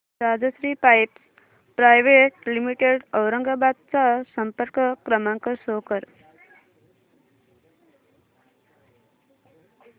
Rajshri pipes private limited Aurangabad चा संपर्क क्रमांक शो कर